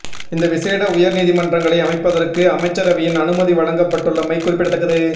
இந்த விசேட உயர் நீதிமன்றங்களை அமைப்பதற்கு அமைச்சரவையின் அனுமதி வழங்கப்பட்டுள்ளமை குறிப்பிடத்தக்கது